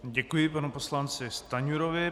Děkuji panu poslanci Stanjurovi.